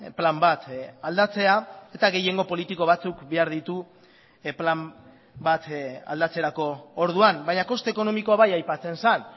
plan bat aldatzea eta gehiengo politiko batzuk behar ditu plan bat aldatzerako orduan baina koste ekonomikoa bai aipatzen zen